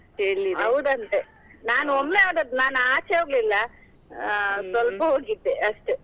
ನಾನು ಒಮ್ಮೆ ಹೋದದ್ದು ನಾನ್ ಆಚೆ ಹೋಗ್ಲಿಲ್ಲಾ. ಸ್ವಲ್ಪ ಹೋಗಿದ್ದೆ ಅಷ್ಟೇ.